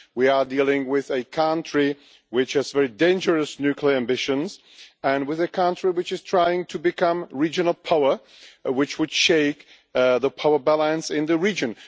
We are dealing with a country which has very dangerous nuclear ambitions and with a country that is trying to become a regional power, which would shake the power balance in the region.